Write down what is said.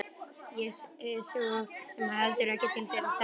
Ég hef svo sem heldur ekkert til þeirra að sækja.